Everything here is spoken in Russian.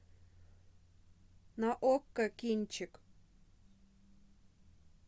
на окко кинчик